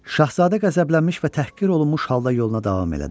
Şahzadə qəzəblənmiş və təhqir olunmuş halda yoluna davam elədi.